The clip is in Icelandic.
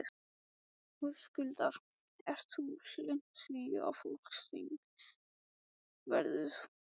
Höskuldur: Ert þú hlynnt því að flokksþing verði boðað?